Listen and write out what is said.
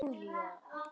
Og Júlía